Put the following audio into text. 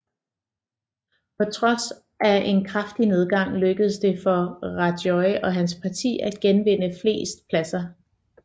På trods af en kraftig nedgang lykkedes det for Rajoy og hans parti at genvinde flest pladser